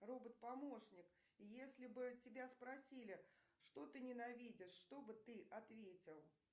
робот помощник если бы тебя спросили что ты ненавидишь что бы ты ответил